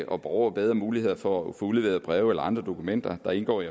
og borgere bedre muligheder for at få udleveret breve eller andre dokumenter der indgår i